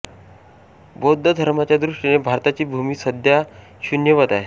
बौद्ध धर्माच्या दृष्टीने भारताची भूमी सध्या शून्यवत आहे